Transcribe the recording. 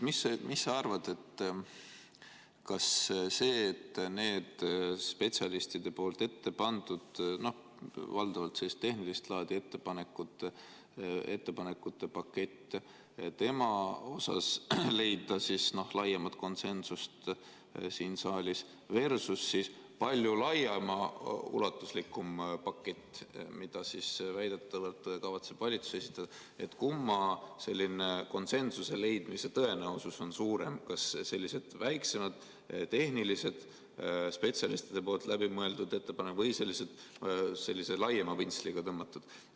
Mis sa arvad, spetsialistide ettepandud valdavalt tehnilist laadi ettepanekute pakett versus laiaulatuslikum pakett, mida väidetavalt kavatseb valitsus esitada – kumma puhul konsensuse leidmise tõenäosus on suurem, kas selliste väiksemate, tehniliste, spetsialistide läbimõeldud ettepanekute või sellise laiema pintsliga tõmmatud puhul?